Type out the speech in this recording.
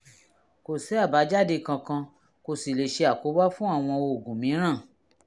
kò sí àbájáde kankan kò sí lè ṣe àkóbá fún àwọn oògùn mìíràn